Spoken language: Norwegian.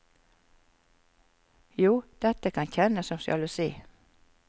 Jo, dette kan kjennes som sjalusi.